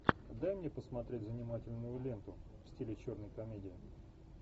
дай мне посмотреть занимательную ленту в стиле черной комедии